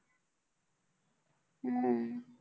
हम्म